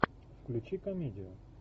включи комедию